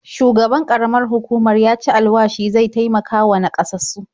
Shugaban ƙaramar hukumar ya ci alwashi zai taimakawa naƙasassu.